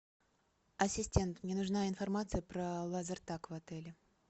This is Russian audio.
ассистент мне нужна информация про лазертаг в отеле